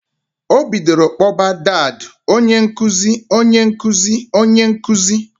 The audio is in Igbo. O bidoro kpoba dadː "Onyenkuziǃ Onyenkuziǃǃ Onyenkuziǃǃǃ"